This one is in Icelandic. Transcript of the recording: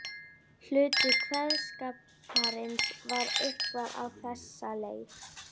Hluti kveðskaparins var eitthvað á þessa leið